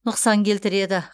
нұқсан келтіреді